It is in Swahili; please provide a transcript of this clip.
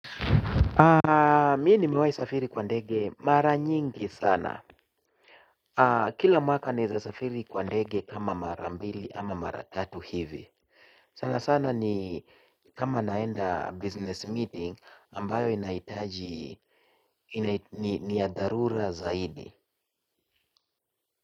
Mi nimewai safiri kwa ndege mara nyingi sana. Kila mwaka naeza safiri kwa ndege kama mara mbili ama mara tatu hivi. Sana sana ni kama naenda business meeting ambayo inaitaji ni ya dharura zaidi.